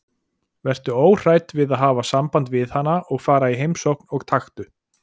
Vertu óhrædd við að hafa samband við hana og fara í heimsókn og taktu